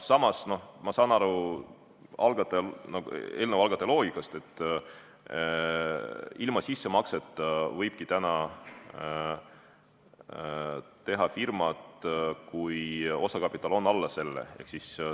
Samas, ma saan aru eelnõu algataja loogikast, ilma sissemakseta võibki täna teha firmat, kui osakapital on alla selle.